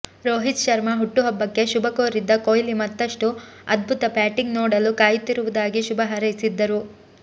ರೋಹಿತ್ ಶರ್ಮಾ ಹುಟ್ಟುಹಬ್ಬಕ್ಕೆ ಶುಭ ಕೋರಿದ್ದ ಕೊಹ್ಲಿ ಮತ್ತಷ್ಟು ಅದ್ಭುತ ಬ್ಯಾಟಿಂಗ್ ನೋಡಲು ಕಾಯುತ್ತಿರುವುದಾಗಿ ಶುಭ ಹಾರೈಸಿದ್ದರು